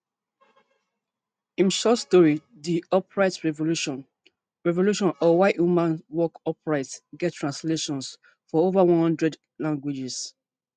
im short story di upright revolution revolution or why humans walk upright get translations for over one hundred languages